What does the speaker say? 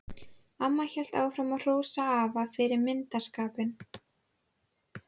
Amma hélt áfram að hrósa afa fyrir myndarskapinn.